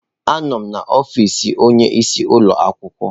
Anọ m n'ọfịsi onyeisi ụlọ akwụkwọ.